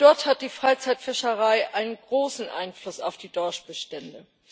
Dort hat die Freizeitfischerei einen großen Einfluss auf die Dorschbestände.